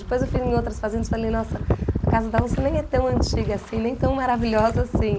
Depois eu fui em outras fazendas e falei, nossa, a casa da Onça nem é tão antiga assim, nem tão maravilhosa assim.